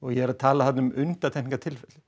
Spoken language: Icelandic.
ég er að tala þarna um undantekningatilfelli